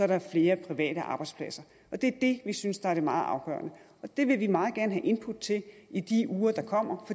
der flere private arbejdspladser og det er det vi synes der er det meget afgørende det vil vi meget gerne have input til i de uger der kommer